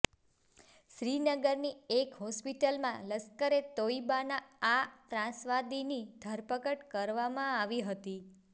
શ્રીનગરનીએક હોસ્પિટલમાં લશ્કરે તોઇબાના આ ત્રાસવાદીની ધરપકડ કરવામાં આવી હતી